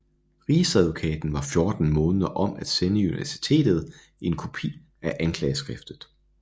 Rigsadvokaten var 14 måneder om at sende universitetet en kopi af anklageskriftet